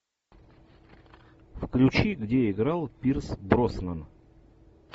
включи где играл пирс броснан